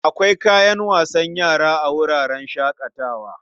Akwai kayan wasan yara a wuraren shaƙatawa.